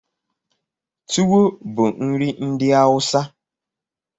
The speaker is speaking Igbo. Tuwo bụ nri ndị Awụsa.